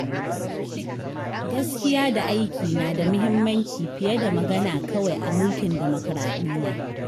Gaskiya da aiki na da mahimmanci fiye da magana kawai a mulkin demokuraɗiyya.